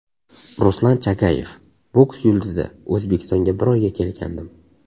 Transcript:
Ruslan Chagayev, boks yulduzi O‘zbekistonga bir oyga kelgandim.